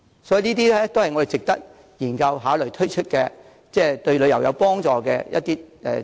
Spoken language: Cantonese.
所以，這些都是值得我們研究和考慮推出，對旅遊業有幫助的項目。